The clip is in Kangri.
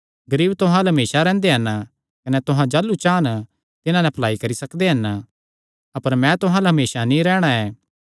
गरीब तुहां अल्ल हमेसा रैंह्दे हन कने तुहां जाह़लू चान तिन्हां नैं भलाई करी सकदे हन अपर मैं तां तुहां अल्ल हमेसा नीं रैहणा ऐ